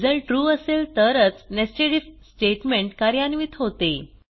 result true असेल तरच netsed IF statement कार्यान्वित होते